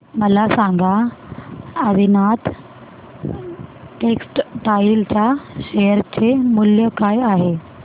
मला सांगा आदिनाथ टेक्स्टटाइल च्या शेअर चे मूल्य काय आहे